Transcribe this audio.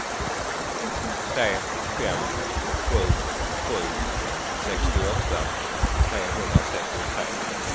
tre fem sju sju sextioåtta trehundratrettiotre